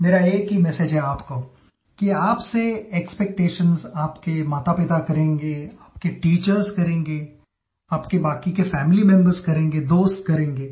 मेरा एक ही मेसेज है आपको कि आपसे एक्सपेक्टेशंस आपके मातापिता करेंगे आपके टीचर्स करेंगे आपके बाकी के फैमिली मेंबर्स करेंगे दोस्त करेंगे